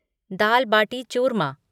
दाल bati चूरमा